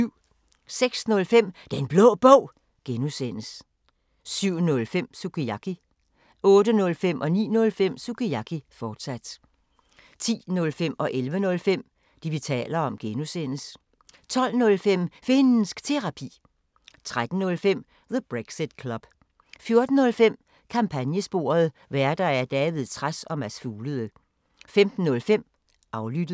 06:05: Den Blå Bog (G) 07:05: Sukiyaki 08:05: Sukiyaki, fortsat 09:05: Sukiyaki, fortsat 10:05: Det, vi taler om (G) 11:05: Det, vi taler om (G) 12:05: Finnsk Terapi 13:05: The Brexit Club 14:05: Kampagnesporet: Værter: David Trads og Mads Fuglede 15:05: Aflyttet